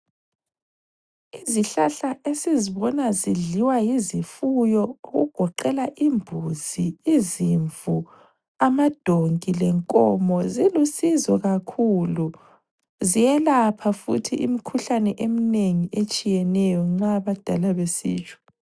Izihlahla esizibona zidliwa yizifuyo okugoqela imbuzi izimvu amadonki lenkomo zilusizo kakhulu. Ziyelapha futhi imikhuhlane eminengi etshiyeneyo nxa abadala besitsho.